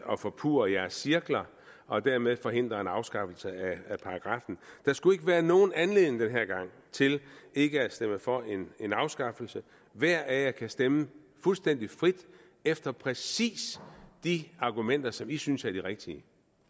og forpurre jeres cirkler og dermed forhindre en afskaffelse af paragraffen der skulle ikke være nogen anledning den her gang til ikke at stemme for en afskaffelse hver af jer kan stemme fuldstændig frit efter præcis de argumenter som i synes er de rigtige